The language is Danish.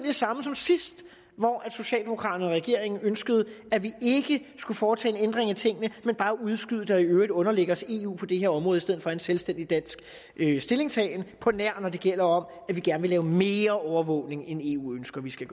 det samme som sidst hvor socialdemokraterne og regeringen ønskede at vi ikke skulle foretage en ændring af tingene men bare udskyde det og i øvrigt underlægge os eu på det her område i stedet for have en selvstændig dansk stillingtagen på nær når det gælder om at vi gerne vil lave mere overvågning end eu ønsker at vi skal